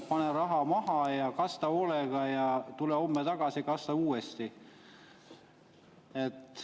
Pane raha maha ja kasta hoolega ja tule homme tagasi ja kasta uuesti.